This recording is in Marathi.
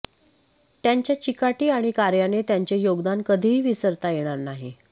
त्यांच्या चिकाटी आणि कार्याने त्यांचे योगदान कधीही विसरता येणार नाही